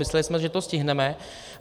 Mysleli jsme, že to stihneme.